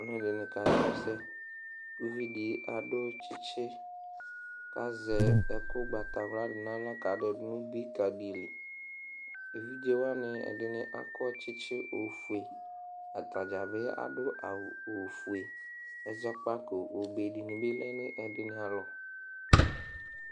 Aluɛdini kasu ɛsɛ uvidi adu tsitsi kazɛ ɛku gbata naɣla kadɛ dunu dili evidze wani ɛdi akɔ tsitsi ofue atadza bi adu awu ofue ɛzɔkpako obee dibi lɛ nu ɛdini alɔ